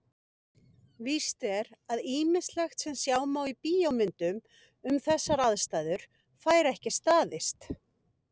Víst er að ýmislegt sem sjá má í bíómyndum um þessar aðstæður fær ekki staðist.